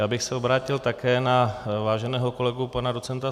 Já bych se obrátil také na váženého kolegu pana doc.